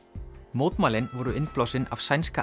mótmælin voru innblásin af sænska